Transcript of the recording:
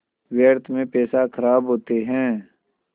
व्यर्थ में पैसे ख़राब होते हैं